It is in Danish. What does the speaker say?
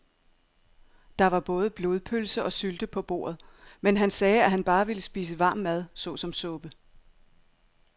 Der var både blodpølse og sylte på bordet, men han sagde, at han bare ville spise varm mad såsom suppe.